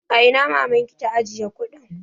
A ina mamanki ta ajiye kuɗin?